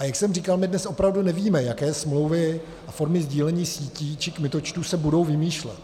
A jak jsem říkal, my dnes opravdu nevíme, jaké smlouvy a formy sdílení sítí či kmitočtů se budou vymýšlet.